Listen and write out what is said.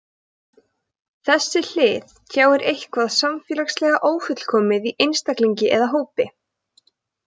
Þessi hlið tjáir eitthvað samfélagslega ófullkomið í einstaklingi eða hópi.